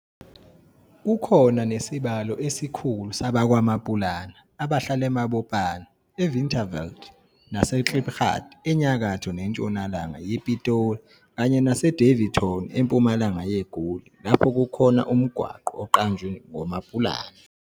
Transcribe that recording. Kukhona nesibalo esikhulu sabakwaMaPulana abahlala eMabopane, eWinterveld naseKlipgat enyakatho nentshonalanga yePitoli kanye naseDaveyton empumalanga yeGoli lapho kukhona umgwaqo oqanjwe ngoMaPulana.